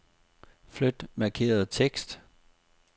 Flyt markerede tekst.